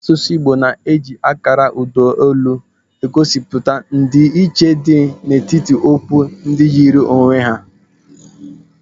Asụsụ Igbo na-eji akara ụda olu egosipụta ndị iche dị etiti okwu ndị yiri onwe ha.